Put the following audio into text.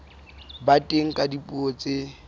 ba teng ka dipuo tse